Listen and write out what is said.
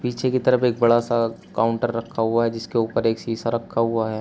पीछे की तरफ एक बड़ा सा काउंटर रखा हुआ है जिसके ऊपर एक शीशा रखा हुआ है।